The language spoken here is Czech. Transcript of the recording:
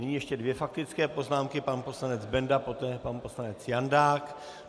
Nyní ještě dvě faktické poznámky - pan poslanec Benda, poté pan poslanec Jandák.